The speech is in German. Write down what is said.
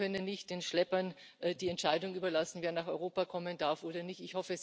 Wir können nicht den Schleppern die Entscheidung überlassen, wer nach Europa kommen darf oder nicht.